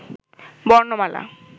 বর্ণমালা